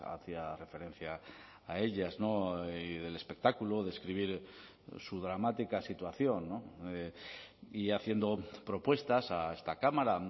hacía referencia a ellas y del espectáculo describir su dramática situación y haciendo propuestas a esta cámara